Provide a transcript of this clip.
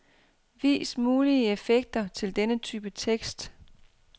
Vis mulige effekter til denne type tekst.